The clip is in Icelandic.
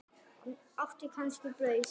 Áttu kannski brauð?